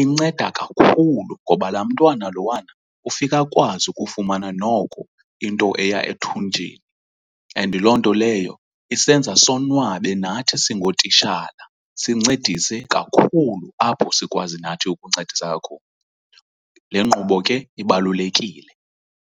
inceda kakhulu ngoba laa mntwana lowana ufika ukwazi ukufumana noko into eya ethunjini and loo nto leyo isenza sonwabe nathi singootitshala sincedise kakhulu apho sikwazi nathi ukuncedisa khona. Le nkqubo ke ibalulekile.